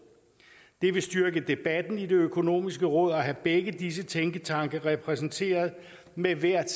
det vil styrke debatten i det økonomiske råd at have begge disse tænketanke repræsenteret med hvert